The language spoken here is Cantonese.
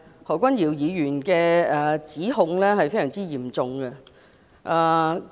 何君堯議員的指控是非常嚴重的。